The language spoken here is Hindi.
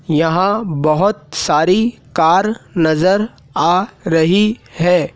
यहां बहोत सारी कार नजर आ रही है।